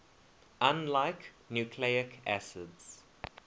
unlike nucleic acids